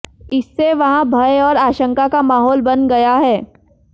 इससे वहां भय और आशंका का माहौल बन गया है